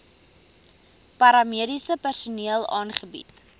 paramediese personeel aangebied